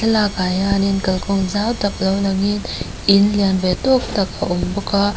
thlalak ah hianin kal zawng zau tak mai lo langin in lian ve tawk tak a awm bawk a.